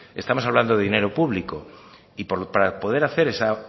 estamos hablando de dinero público y para poder hacer esa